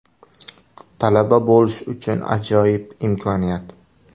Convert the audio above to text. Talaba bo‘lish uchun ajoyib imkoniyat.